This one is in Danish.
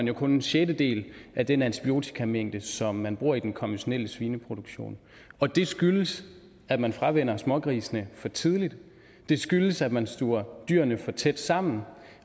jo kun en sjettedel af den antibiotikamængde som man bruger i den konventionelle svineproduktion og det skyldes at man fravænner smågrisene for tidligt det skyldes at man stuver dyrene for tæt sammen